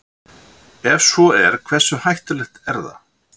Ef svo er hversu hættulegt er það?